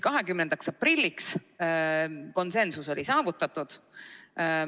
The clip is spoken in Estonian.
20. aprilliks oli konsensus saavutatud.